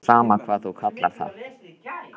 Mér er sama hvað þú kallar það.